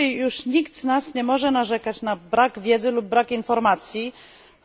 Dzisiaj już nikt z nas nie może narzekać na brak wiedzy lub informacji